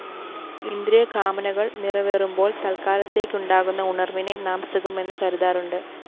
ഇന്ദ്രിയകാമനകള്‍ നിറവേറുമ്പോള്‍ തത്ക്കാലത്തേക്കുണ്ടാകുന്ന ഉണര്‍വിനെ നാം സുഖമെന്നു കരുതാറുണ്ട്